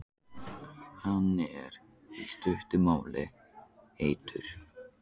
Hann er, í stuttu máli, heitur.